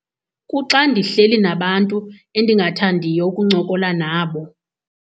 Kuxa ndihleli nabantu endingathandiyo ukuncokola nabo.